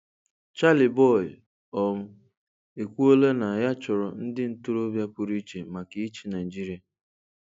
Charly Boy um ekwuola na ya chọrọ ndị ntorobịa pụrụiche maka ịchị Naịjirịa.